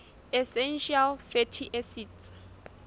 essential fatty acids